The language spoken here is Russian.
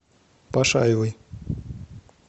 пашаевой